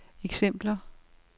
eksempler